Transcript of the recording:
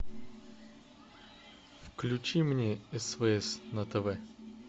включи мне свс на тв